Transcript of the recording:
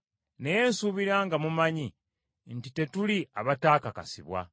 Naye nsuubira nga mumanyi nti tetuli abataakakasibwa.